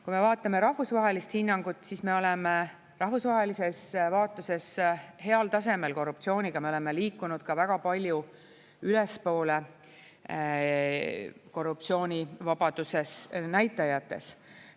Kui me vaatame rahvusvahelist hinnangut, siis me oleme rahvusvahelises vaatuses heal tasemel korruptsiooniga, me oleme liikunud ka väga palju ülespoole korruptsiooni vabaduse näitajates.